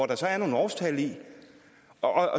der er nogle årstal i og